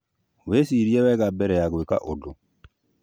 Wicirie wega mbere ya gwika ũndũ